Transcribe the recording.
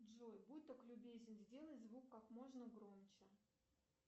джой будь так любезен сделай звук как можно громче